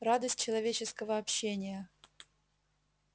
радость человеческого общения